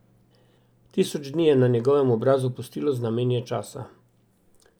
Tisoč dni je na njegovem obrazu pustilo znamenja časa.